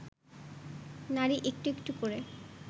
নারী একটু একটু করে